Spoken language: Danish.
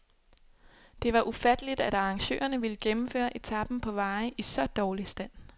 Det var ufatteligt, at arrangørerne ville gennemføre etapen på veje i så dårlig stand.